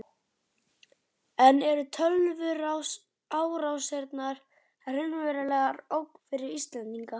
En eru tölvuárásir raunveruleg ógn fyrir Íslendinga?